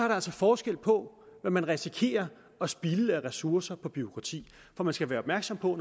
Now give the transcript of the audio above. der altså forskel på hvad man risikerer at spilde af ressourcer på bureaukrati for man skal være opmærksom på